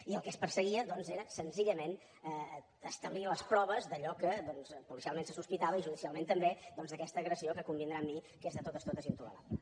i el que es perseguia doncs era senzillament establir les proves d’allò que policialment se sospitava i judicialment també d’aquesta agressió que convindrà amb mi que és de totes totes intolerable